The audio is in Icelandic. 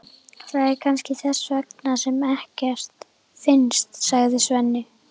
Það er kannski þess vegna sem ekkert finnst, sagði Svenni.